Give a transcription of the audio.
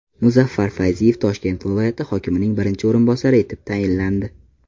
Muzaffar Fayziyev Toshkent viloyati hokimining birinchi o‘rinbosari etib tayinlandi.